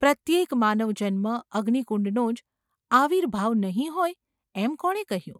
પ્રત્યેક માનવજન્મ અગ્નિકુંડનો જ આવિર્ભાવ નહિ હોય એમ કોણે કહ્યું?